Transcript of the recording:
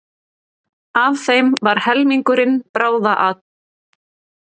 Af þeim var helmingurinn bráðatilvik